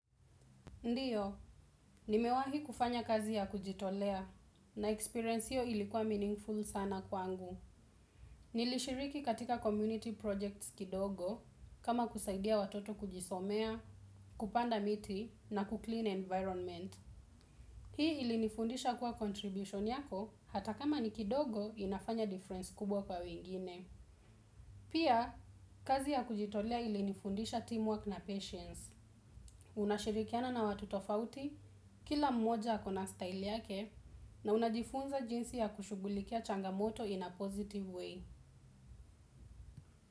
Ndiyo, nimewahi kufanya kazi ya kujitolea na experience hiyo ilikuwa meaningful sana kwangu. Nilishiriki katika community projects kidogo kama kusaidia watoto kujisomea, kupanda miti na kuclean environment. Hii ilinifundisha kuwa contribution yako hata kama ni kidogo inafanya difference kubwa kwa wingine. Pia kazi ya kujitolea ilinifundisha teamwork na patience. Unashirikiana na watu tofauti, kila mmoja akona style yake na unajifunza jinsi ya kushugulikia changamoto in a positive way.